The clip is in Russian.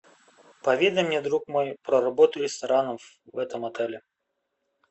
поведай мне друг мой про работу ресторанов в этом отеле